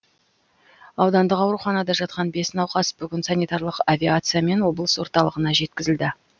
аудандық ауруханада жатқан бес науқас бүгін санитарлық авиациямен облыс орталығына жеткізілді